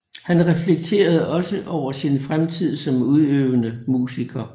Han reflekterede også over sin fremtid som udøvende musiker